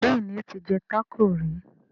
Béèni o tí jé taco rí.